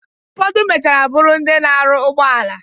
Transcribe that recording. Ụfodụ mechara bụrụ ndị na-aru ụgbọala